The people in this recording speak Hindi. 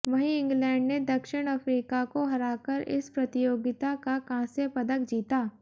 वहीं इंग्लैंड ने दक्षिण अफ्रीका को हराकर इस प्रतियोगिता का कांस्य पदक जीता